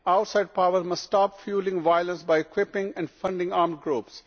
Outside power must stop fuelling violence by equipping and funding armed groups.